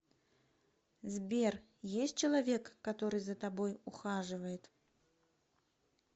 сбер есть человек который за тобой ухаживает